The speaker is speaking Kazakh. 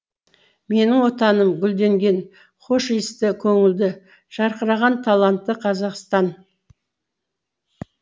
менің отаным гүлденген хош иісті көңілді жарқыраған талантты қазақстан